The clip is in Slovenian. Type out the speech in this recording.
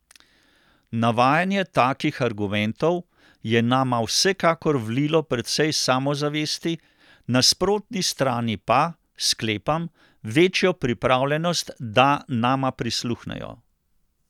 Navajanje takih argumentov je nama vsekakor vlilo precej samozavesti, nasprotni strani pa, sklepam, večjo pripravljenost, da nama prisluhnejo ...